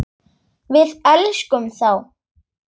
Við elskum þá.